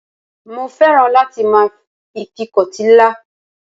Mo féràn láti máa ìfikọ́tí ńlá.